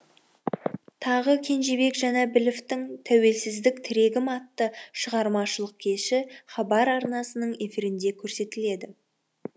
тағы кенжебек жанәбіловтің тәуелсіздік тірегім атты шығармашылық кеші хабар арнасының эфирінде көрсетіледі